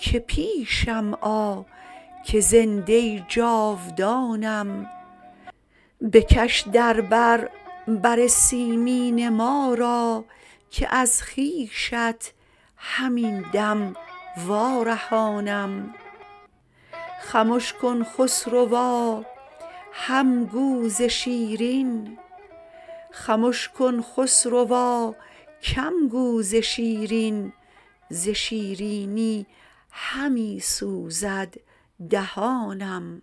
که پیشم آ که زنده جاودانم بکش در بر بر سیمین ما را که از خویشت همین دم وارهانم خمش کن خسروا هم گو ز شیرین ز شیرینی همی سوزد دهانم